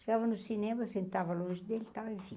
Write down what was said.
Chegava no cinema, eu sentava longe dele, e tal enfim